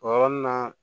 O yɔrɔnin na